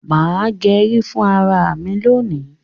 má gé rí fún àrà mí lóni.